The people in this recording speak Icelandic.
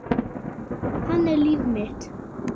Hann er líf mitt.